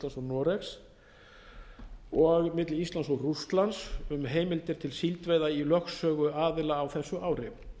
og noregs og milli íslands og rússlands um heimildir til síldveiða í lögsögu aðila á þessu ári